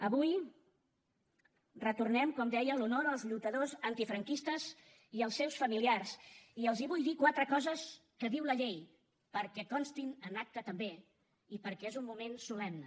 avui retornem com deia l’honor als lluitadors antifranquistes i als seus familiars i els vull dir quatre coses que diu la llei perquè constin en acta també i perquè és un moment solemne